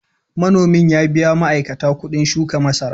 Manomin ya biya ma’aikata kuɗin shuka masara.